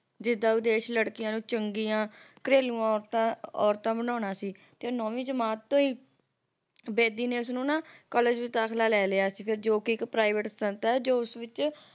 ਜਿਦਾਂ ਵਿਦੇਸ਼ ਲੜਕੀਆਂ ਨੂੰ ਚੰਗੀਆਂ ਘਰੇਲੂ ਔਰਤਾਂ ਬਣਾਉਣਾ ਸੀ ਤੇ ਉਹ ਨੌਵੀਂ ਜਮਾਤ ਤੋਂ ਹੀ ਬੇਦੀ ਨੇ ਉਸਨੂੰ ਨਾ College ਵਿੱਚ ਦਾਖਲਾ ਲੈ ਲਿਆ ਸੀ ਜੋ ਕੇ ਇੱਕ private ਸੰਸਥਾ ਜੋ ਉਸ ਵਿੱਚ